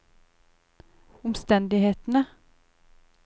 omstendighetene